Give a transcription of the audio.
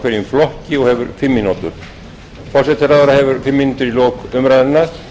hverjum flokki og hefur fimm mínútur forsætisráðherra hefur fimm mínútur í lok umræðunnar